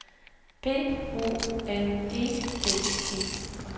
B O N E D E